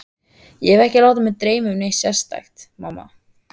Ég hef ekki látið mig dreyma um neitt sérstakt, mamma.